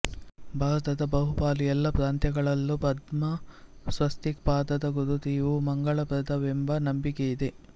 ಭಾರತದ ಬಹುಪಾಲು ಎಲ್ಲ ಪ್ರಾಂತ್ಯಗಳಲ್ಲೂ ಪದ್ಮ ಸ್ವಸ್ತಿಕ್ ಪಾದದ ಗುರುತು ಇವು ಮಂಗಳಪ್ರದವೆಂಬ ನಂಬಿಕೆಯಿದೆ